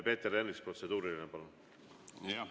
Peeter Ernits, protseduuriline, palun!